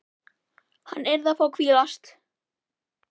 Hann yrði að fá að hvílast.